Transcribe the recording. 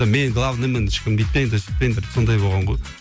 мен главныймын ешкім бүйтпеңдер сөйтпеңдер сондай болған ғой